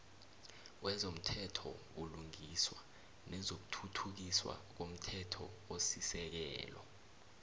wezomthethobulungiswa nezokuthuthukiswa ngomthethosisekelo